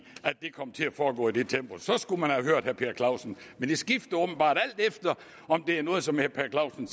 at det kom til at foregå i det tempo så skulle man have hørt herre per clausen men det skifter åbenbart alt efter om det er noget som herre per clausen